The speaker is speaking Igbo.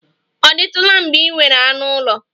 Ọ dịtụla mgbe ị nwere anụ ụlọ?